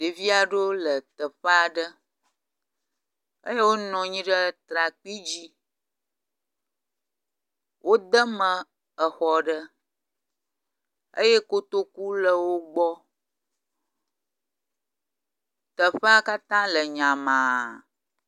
Ɖevi aɖewo le teƒe aɖe eye wonɔ anyi ɖe trakpui dzi, wodeme exɔ aɖe eye kotoku le wogbɔ, teƒea katã le nyamaa